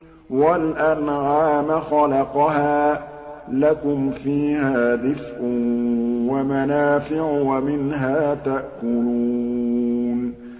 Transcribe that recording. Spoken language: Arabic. وَالْأَنْعَامَ خَلَقَهَا ۗ لَكُمْ فِيهَا دِفْءٌ وَمَنَافِعُ وَمِنْهَا تَأْكُلُونَ